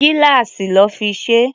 Gíláàsì lọ́ fi ṣe é.